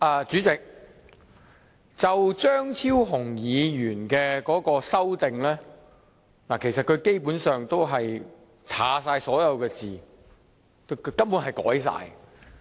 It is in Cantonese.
主席，張超雄議員的修正案基本上將原議案所有內容刪去，根本是全部修改。